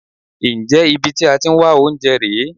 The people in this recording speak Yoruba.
Ǹjẹ́ ibi tí ẹ ti ń wá oúnjẹ rè é?